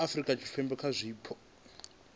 ha afurika tshipembe kha zwipotso